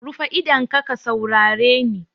Rufe idonka ka saurare ni!